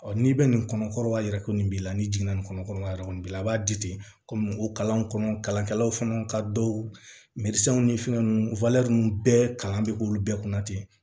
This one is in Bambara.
n'i bɛ nin kɔnɔkɔrɔ y'a ye ko nin b'i la ni jiginna nin kɔnɔ a yɛrɛ kɔni b'i la a b'a di ten komi o kalanw kɔnɔ kalankɛlaw fana ka dɔw ni fɛn ninnu bɛɛ kalan bɛ k'olu bɛɛ kunna ten